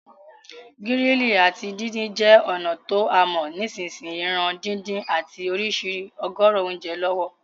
Grilling áti díndin je ònà to a mo nisínsìn yìí ran dídún àti ìsrísí ọ̀gọ̀rọ̀ ounje lọ̀wọ̀